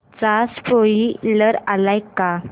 चा स्पोईलर आलाय का